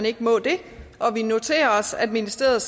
ikke må det og vi noterer os at ministeriet